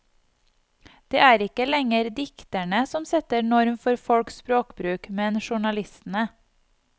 Det er ikke lenger dikterne som setter norm for folks språkbruk, men journalistene.